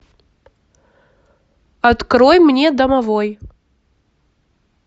открой мне домовой